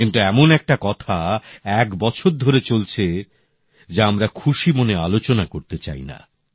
কিন্তু এমন একটা কথা এক বছর ধরে চলছে যা আমরা খুশি মনে আলোচনা করতে চাই না